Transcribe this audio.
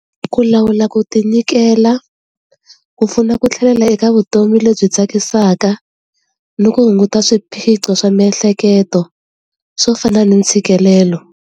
Ku lawula ku tinyikela ku pfuna ku tlhelela eka vutomi lebyi tsakisaka ni ku hunguta swiphiqo swa miehleketo swo fana ni ntshikelelo.